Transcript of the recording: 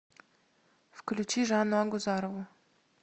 включи жанну агузарову